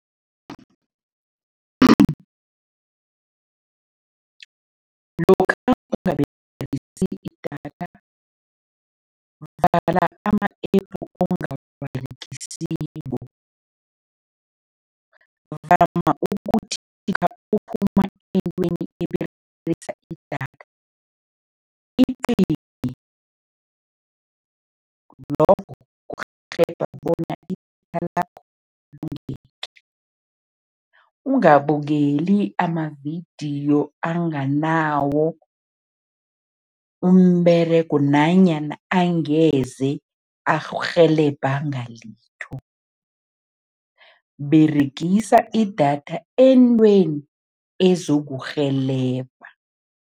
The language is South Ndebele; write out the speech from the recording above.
Lokha idatha, vala ama-App ongawaberegisiko, eberegisa idatha, icime, lokho kurhelebha bona idatha lakho longeke. Ungabukeli amavidiyo anganawo umberego nanyanya angeze akurhelebha ngalitho, beregisa idatha entweni ezokurhelebha.